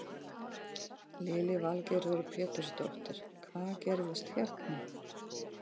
Lillý Valgerður Pétursdóttir: Hvað gerðist hérna?